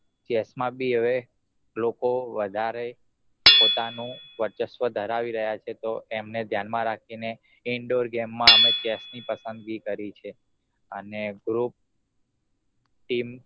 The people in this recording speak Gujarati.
chess માં બી હવે લોકો વધારે પોતાનું વરચસ્વ ધરાવી રહ્યા છે તો એમને ધ્યાન માં રાખીને indoor game માં અમે chess ની પસંદગી કરી છે અને group team